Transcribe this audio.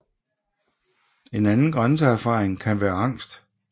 En anden grænseerfaring kan være angst